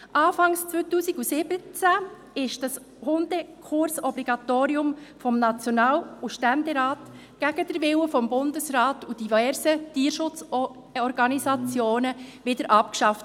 Anfang 2017 wurde dieses Hundekursobligatorium vom National- und vom Ständerat gegen den Willen des Bundesrats und diverser Tierschutzorganisationen abgeschafft.